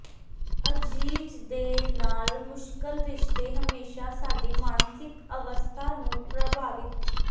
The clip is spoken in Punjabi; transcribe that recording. ਅਜ਼ੀਜ਼ ਦੇ ਨਾਲ ਮੁਸ਼ਕਲ ਰਿਸ਼ਤੇ ਹਮੇਸ਼ਾ ਸਾਡੀ ਮਾਨਸਿਕ ਅਵਸਥਾ ਨੂੰ ਪ੍ਰਭਾਵਿਤ